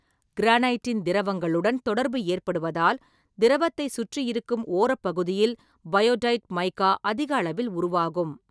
கிரானைட்டின் திரவங்களுடன் தொடர்பு ஏற்படுவதால், திரவத்தை சுற்றி இருக்கும் ஓரப்பகுதியில் பயோடைட் மைக்கா அதிக அளவில் உருவாகும்.